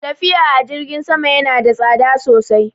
Tafiya a jirgin sama ya na da tsada sosai